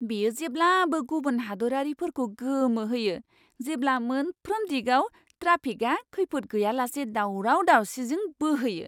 बेयो जेब्लाबो गुबुन हादोरारिफोरखौ गोमोहोयो, जेब्ला मोनफ्रोम दिगाव ट्राफिकआ खैफोद गैयालासे दावराव दावसिजों बोहैयो।